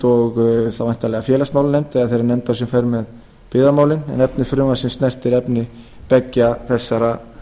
og þá væntanlega félagsmálanefnd eða þeirri nefnd sem fer með byggðamálin en efni frumvarpsins snertir efni beggja þessara